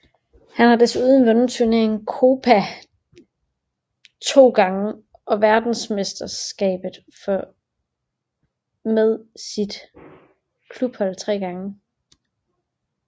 Han har desuden vundet turneringen Copa Libertadores to gange og verdensmesterskabet for med sit klubhold tre gange